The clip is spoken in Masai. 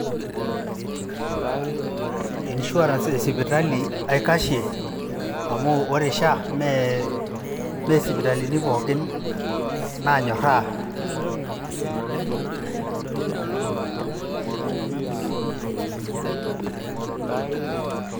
Insurance e sipitali aikashie amu ore SHA nemesipitalini pookin naanyorraa